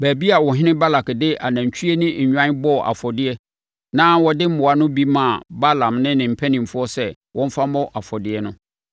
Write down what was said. baabi a ɔhene Balak de anantwie ne nnwan bɔɔ afɔdeɛ na ɔde mmoa no bi maa Balaam ne ne mpanimfoɔ sɛ wɔmfa mmɔ afɔdeɛ no.